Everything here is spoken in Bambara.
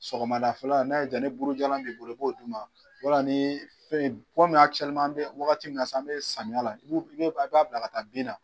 Sɔgɔmada fɛla n'a ye jaa ni burujalan b'i bolo i b'o d'u ma wala ni fɛn komi an bɛ wagati min na sisan an bɛ samiyala i b'o i b'a bila ka taa bin na.